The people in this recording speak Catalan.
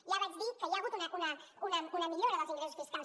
ja vaig dir que hi ha hagut una millora dels ingressos fiscals